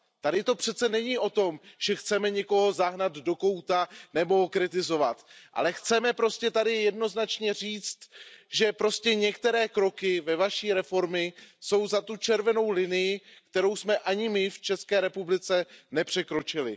Tady to přece není o tom, že chceme někoho zahnat do kouta nebo kritizovat, ale chceme tady prostě jednoznačně říct, že některé kroky ve vaší reformě jsou za tou červenou linií, kterou jsme ani my v České republice nepřekročili.